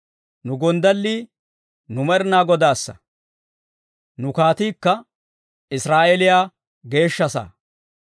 Nu gonddallii, nu Med'inaa Godaassa; nu kaatiikka, Israa'eeliyaa geeshsha saa.